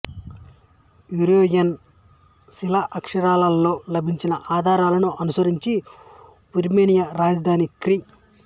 Yerevan శిలాక్షరాలలో లభించిన ఆధారాలను అనుసరించి ఆర్మేనియా రాజధాని క్రి